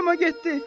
Qoyma getdi.